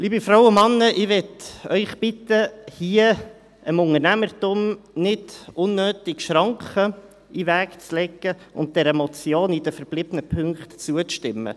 Liebe Frauen und Männer, ich möchte Sie bitten, hier dem Unternehmertum nicht unnötig Schranken in den Weg zu legen und dieser Motion in den verbliebenen Punkten zuzustimmen.